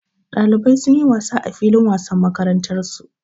Ɗalibai sun yi wasa a filin wasan makarantarsu.